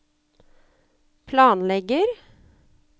planlegger